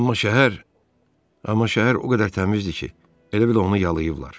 Amma şəhər, amma şəhər o qədər təmizdir ki, elə bil onu yalıyıblar.